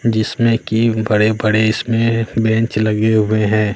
जिसमें की बड़े-बड़े इसमें बेंच लगे हुए हैं।